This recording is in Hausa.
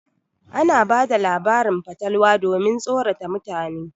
Ana bada labarin fatalwa domin tsorata mutane.